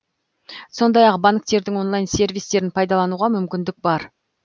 сондай ақ банктердің онлайн сервистерін пайдалануға мүмкіндік бар